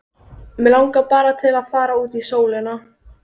Mig langar bara til að fara út í sólina.